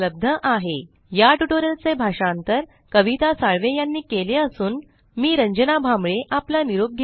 spoken tutorialorgnmeict intro या tutorial चे भाषांतर आवाज कविता साळवे यानी केले असून मी रंजना भांबळे आपला निरोप घेते